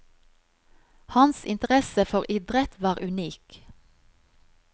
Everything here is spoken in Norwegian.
Hans interesse for idrett var unik.